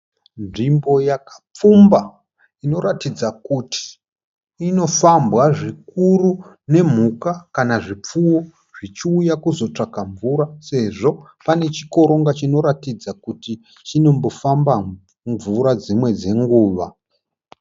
Nzvimbo yakapfumba inoratidza kuti inofambwa zvikuru nemhuka kana zvipfuwo zvichiuya kuzotsvaka mvura sezvo pane chikoronga chinoratidza kuti chinombofamba mvura dzimwe dzenguva.